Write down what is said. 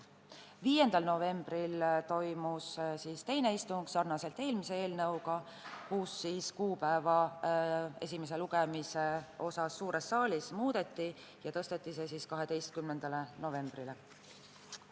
5. novembril toimus teine istung, nagu oli ka eelmise eelnõu puhul, ning suures saalis toimuva esimese lugemise kuupäeva muudeti, see tõsteti 12. novembrile.